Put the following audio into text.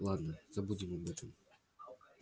ладно забудем об этом